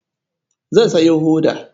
Zan sayo hoda.